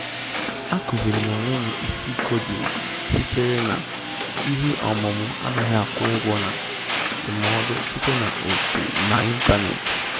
A kuziirim onwem isi koding sitere na ihe ọmụmụ anaghị akwụ ụgwọ na ndụmọdụ site na otu n'ịntanetị